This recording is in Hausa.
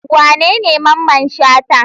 Wanene Mamman Shata?